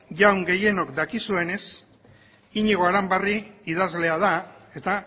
jaun gehienok dakizuenez iñigo aranbarri idazlea da eta